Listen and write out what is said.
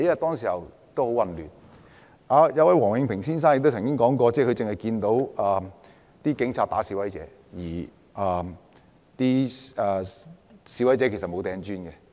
當時情況很混亂，王永平先生曾指出，他只看到警察毆打示威者，而示威者沒有扔磚頭。